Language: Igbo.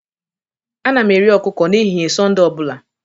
Ana m eri ọkụkọ n'ehihie Sọnde ọ bụla